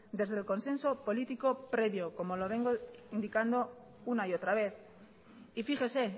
desde el consenso político previo como lo vengo indicando una y otra vez y fíjese